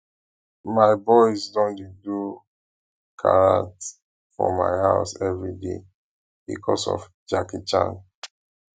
my boys don dey do karate for my house everyday because of jackie chan